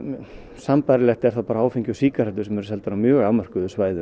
sambærilegt eru áfengi og sígarettur sem eru seld á mjög afmörkuðu svæði